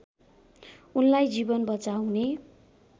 उनलाई जीवन बचाउने